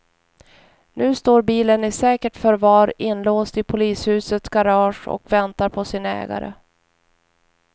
Nu står bilen i säkert förvar inlåst i polishusets garage och väntar på sin ägare.